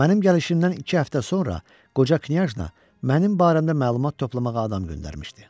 Mənim gəlişimdən iki həftə sonra qoca knyajna mənim barəmdə məlumat toplamağa adam göndərmişdi.